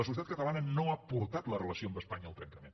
la societat catalana no ha portat la relació amb espanya al trencament